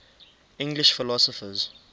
english philosophers